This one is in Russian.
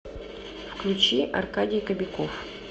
включи аркадий кобяков